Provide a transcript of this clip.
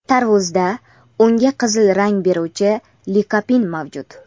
Tarvuzda unga qizil rang beruvchi likopin mavjud.